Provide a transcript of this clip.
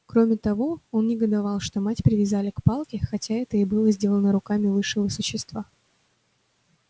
кроме того он негодовал что мать привязали к палке хотя это и было сделано руками высшего существа